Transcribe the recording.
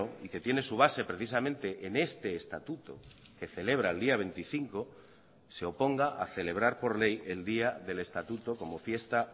y que tiene su base precisamente en este estatuto que celebra el día veinticinco se oponga a celebrar por ley el día del estatuto como fiesta